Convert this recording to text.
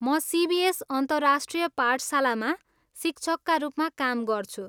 म सिबिएस अन्तर्राष्ट्रिय पाठशालामा शिक्षकका रूपमा काम गर्छु।